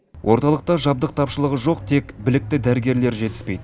орталықта жабдық тапшылығы жоқ тек білікті дәрігерлер жетіспейді